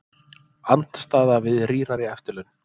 Andstaða við rýrari eftirlaun